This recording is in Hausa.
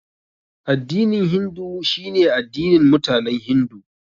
Addinin Hindu shine addinin mutanen Hindu.